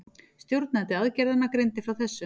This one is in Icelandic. Stjórnandi aðgerðanna greindi frá þessu